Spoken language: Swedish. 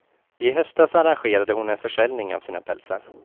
I höstas arrangerade hon en försäljning av sina pälsar.